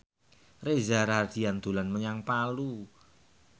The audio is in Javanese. Reza Rahardian dolan menyang Palu